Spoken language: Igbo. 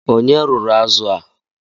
Ònye rụrụ azụ a?